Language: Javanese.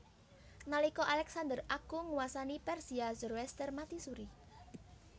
Nalika Alexander Agung nguwasani Persia Zoroaster mati suri